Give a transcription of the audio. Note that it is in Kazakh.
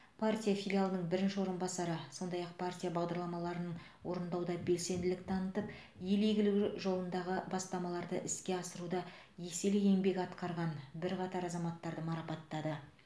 партия филиалының бірінші орынбасары сондай ақ партия бағдарламаларын орындауда белсенділік танытып ел игілігі жолындағы бастамаларды іске асыруда еселі еңбек еткен бірқатар азаматтарды марапаттады